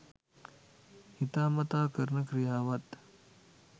හිතාමතා කරන ක්‍රියාවත්